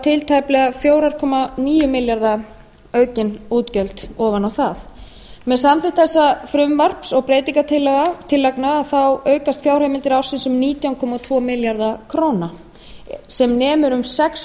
til tæplega fjögur komma níu milljarða króna aukin útgjalda ofan á það með samþykkt þessa fyrirliggjandi frumvarps og breytingartillagna aukast fjárheimildir ársins um nítján komma tvo milljarða króna á árinu tvö þúsund og sex sem nemur um sex